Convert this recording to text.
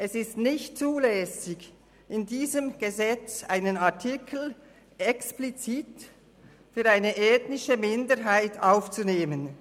Es ist nicht zulässig, in diesem Gesetz einen Artikel explizit für eine ethnische Minderheit aufzunehmen.